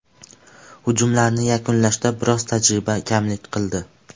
Hujumlarni yakunlashda biroz tajriba kamlik qildi.